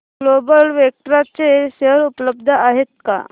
global Vectra चे share उपलब्ध आहेत का